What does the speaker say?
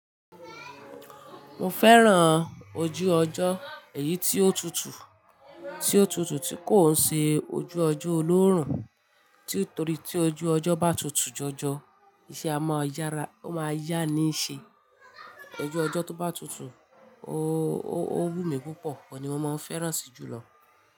Mo fẹ́ràn ojú ọjọ́ èyí tí ó tutù, tí ó tutù tí kò ń ṣe ojú ọjọ́ olóórùn torí tí ojú ọjọ́ bá tutù jọjọ, iṣẹ́ a máa yára, ó máa yá ní ṣe. Ojú ọjọ́ tó bá tutù, ó wù mí púpọ̀, oun ni mo máa ń fẹ́ràn sí jùlọ.